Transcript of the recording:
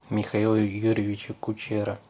михаила юрьевича кучера